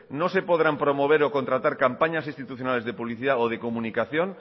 no se podrán promover o contratar campañas institucionales de publicidad o de comunicación